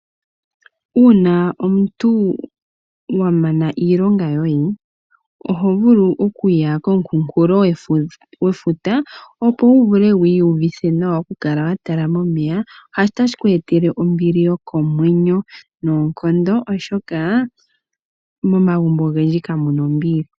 Uuna omuntu wamana iilonga yoye oho vulu okuya komukunkulo gwefuta opo wuvule wu uvithe nawa okukala watala momeya otashi ku etele ombili yokomwenyo noonkondo oshoka momagumbo ogendji kamuna ombili.